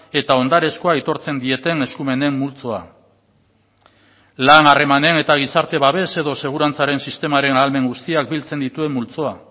eta ondarezkoa aitortzen dieten eskumenen multzoa lan harremanean eta gizarte babes edo segurantzaren sistemaren ahalmen guztiak biltzen dituen multzoa